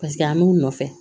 Paseke an b'u nɔfɛ